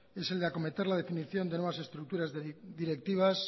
es el de acometer la definición de nuevas estructuras directivas